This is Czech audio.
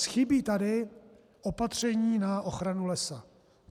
Chybí tady opatření na ochranu lesa.